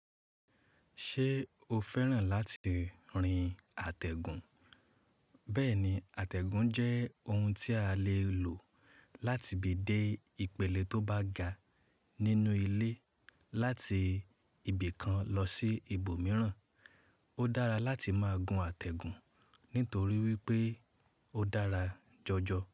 Ṣé o fẹ́ràn láti rin àtẹ̀gùn? Bẹ́ẹ̀ni, àtẹ̀gùn jẹ́ ohun tí a lè lò láti bi dé ipele tó bá ga nínú ilé láti ibìkan lọ sí ibòmíràn. Ó dára láti máa gun àtẹ̀gùn nítorí wípé ó dára jọjọ.